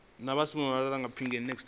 na vho simon malepeng kha